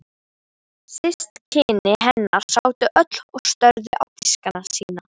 Systkini hennar sátu öll og störðu á diskana sína.